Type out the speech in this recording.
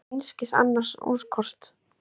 Ég á einskis annars úrkosti.